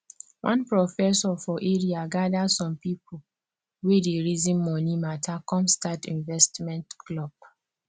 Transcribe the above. one professor for area gather some people wey dey reason money mata come start investment club